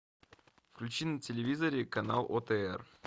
включи на телевизоре канал отр